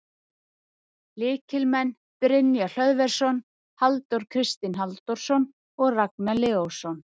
Lykilmenn: Brynjar Hlöðversson, Halldór Kristinn Halldórsson og Ragnar Leósson.